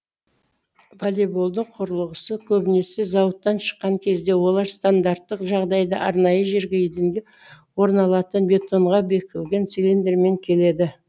волейболдың құрылғысы көбінесе зауыттан шыққан кезде олар стандарттық жағдайда арнайы жерге еденге орналатын бетонға бекілген цилиндрмен келеді